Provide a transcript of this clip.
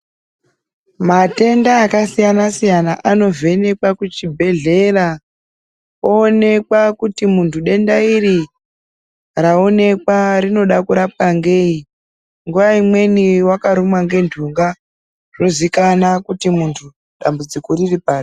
Matenda akasiyana siyana anovhenekwa kuchibhedhlera oonekwa kuti muntu denda iri raonekwa rinoda kurapwa ngei. Nguwa imweni akarumwa nentunga, zvozikanwa kuti dambudziko riri pari.